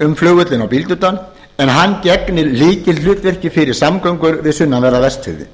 um flugvöllinn á bíldudal en hann gegnir lykilhlutverki fyrir samgöngur við sunnanverða vestfirði